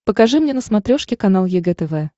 покажи мне на смотрешке канал егэ тв